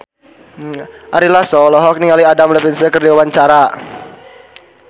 Ari Lasso olohok ningali Adam Levine keur diwawancara